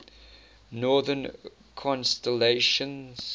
northern constellations